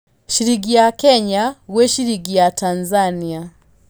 ciringi ya Kenya gwĩ ciringi ya Tanzania